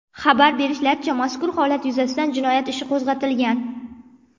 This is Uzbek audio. Xabar berishlaricha, mazkur holat yuzasidan jinoyat ishi qo‘zg‘atilgan.